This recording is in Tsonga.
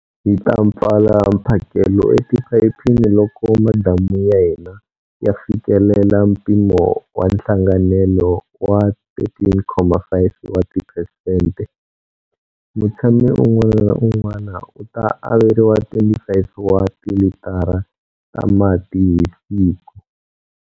Hi ta pfala mphakelo etiphayiphini loko madamu ya hina ya fikelela mpimo wa nhlanganelo wa 13.5 wa tiphesente. Mutshami un'wana na un'wana u ta averiwa 25 wa tilitara ta mati hi siku.